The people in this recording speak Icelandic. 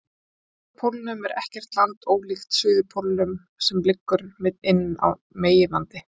Á norðurpólnum er ekkert land, ólíkt suðurpólnum sem liggur inni á meginlandi.